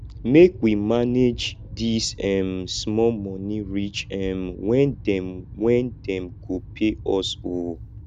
make we manage dis um small moni reach um wen dem wen dem go pay us o